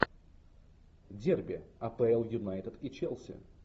дерби апл юнайтед и челси